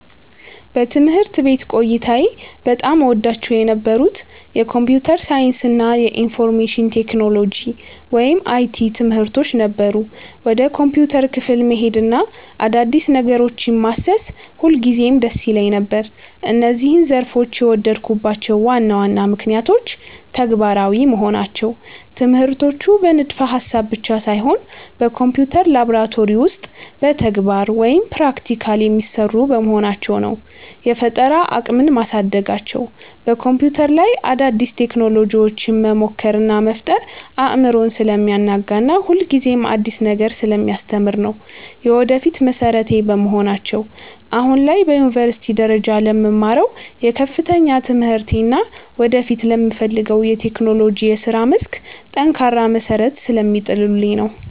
በትምህርት ቤት ቆይታዬ በጣም እወዳቸው የነበሩት የኮምፒውተር ሳይንስ እና የኢንፎርሜሽን ቴክኖሎጂ (IT) ትምህርቶች ነበሩ። ወደ ኮምፒውተር ክፍል መሄድና አዳዲስ ነገሮችን ማሰስ ሁልጊዜም ደስ ይለኝ ነበር። እነዚህን ዘርፎች የወደድኩባቸው ዋና ዋና ምክንያቶች፦ ተግባራዊ መሆናቸው፦ ትምህርቶቹ በንድፈ-ሐሳብ ብቻ ሳይሆን በኮምፒውተር ላብራቶሪ ውስጥ በተግባር (Practical) የሚሰሩ በመሆናቸው ነው። የፈጠራ አቅምን ማሳደጋቸው፦ በኮምፒውተር ላይ አዳዲስ ቴክኖሎጂዎችን መሞከር እና መፍጠር አእምሮን ስለሚያናጋና ሁልጊዜም አዲስ ነገር ስለሚያስተምር ነው። የወደፊት መሠረቴ በመሆናቸው፦ አሁን ላይ በዩኒቨርሲቲ ደረጃ ለምማረው የከፍተኛ ትምህርቴ እና ወደፊት ለምፈልገው የቴክኖሎጂ የሥራ መስክ ጠንካራ መሠረት ስለሚጥሉልኝ ነው።